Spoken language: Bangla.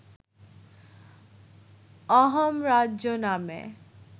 অহোম রাজ্য নামে